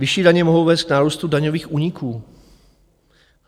Vyšší daně mohou vést k nárůstu daňových úniků.